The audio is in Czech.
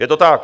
Je to tak.